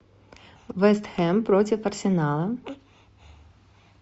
вест хэм против арсенала